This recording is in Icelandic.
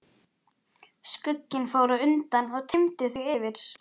Skugginn fór á undan og teymdi þig yfir